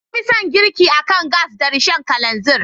Na fi son girki akan gas da Rishon kalanzir.